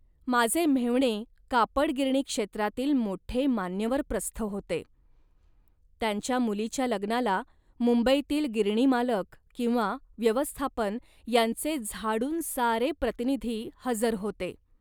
माझे मेव्हणे कापड गिरणी क्षेत्रातील मोठे मान्यवर प्रस्थ होते. त्यांच्या मुलीच्या लग्नाला मुंबईतील गिरणीमालक किंवा व्यवस्थापन यांचे झाडून सारे प्रतिनिधी हजर होते